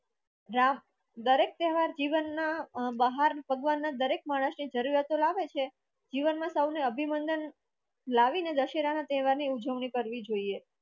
રાહ દરેક તહેવાર જીવનના બહાર ભગવાન ના દરેક માણસની જરૂરિયાતો લાવે છે જીવનમાં સૌને અભિનંદન લાવીને દશેરાના તહેવારની ઉજવણી કરવી જોઈએ